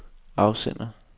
afsender